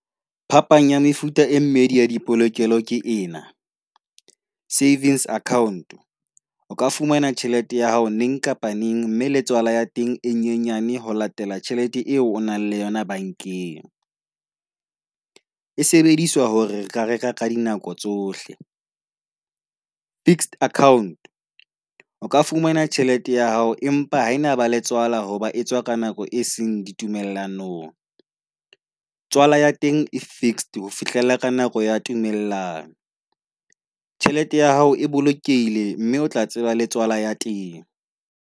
Phapang ya mefuta e mmedi ya di polokelo ke ena. Savings account o ka fumana tjhelete ya hao neng kapa neng mme letswalo ya teng e nyenyane ho latela tjhelete eo o nang le yona bankeng. E sebediswa hore re ka reka ka dinako tsohle. Fixed account o ka fumana tjhelete ya hao empa ena ba le tswala hoba etswa ka nako e seng ditumellanong. Tswala ya teng e fixed ho fihlela ka nako ya tumellano. Tjhelete ya hao e bolokeile mme o tla tseba le tswala ya teng.